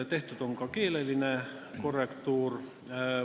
Tehtud on ka keeleline korrektuur.